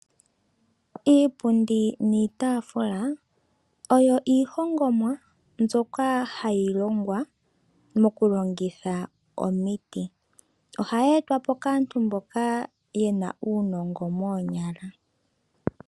Iipundi niitaafula oyo iihongomwa mbyoka hayi longwa mokulongitha omiti. Ohayi etwa po kaantu mboka yena uunongo moonyala.